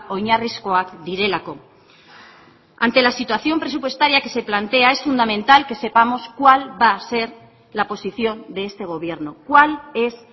oinarrizkoak direlako ante la situación presupuestaria que se plantea es fundamental que sepamos cuál va a ser la posición de este gobierno cuál es